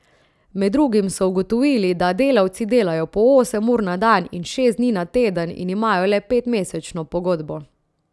Med drugim so ugotovili, da delavci delajo po osem ur na dan in šest dni na teden in imajo le petmesečno pogodbo.